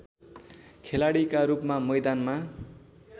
खेलाडीका रूपमा मैदानमा